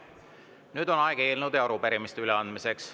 Nüüd on aeg eelnõude ja arupärimiste üleandmiseks.